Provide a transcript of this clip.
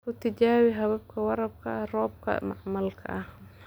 Ku tijaabi habka waraabka roobka macmalka ah.